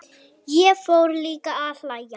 Ég fór líka að hlæja.